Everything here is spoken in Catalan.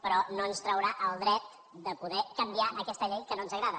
però no ens traurà el dret de poder canviar aquesta llei que no ens agrada